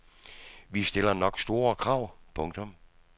Vi stiller nok store krav. punktum